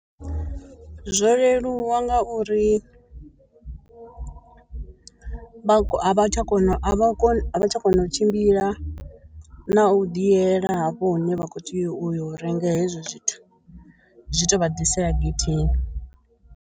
zwo leluwa ngauri vha a vha tsha kona a vha koni a vha tsha kona u tshimbila na u ḓi yela hafho hune vha kho tea u yo renga hezwo zwithu zwi to vha ḓisela getheni.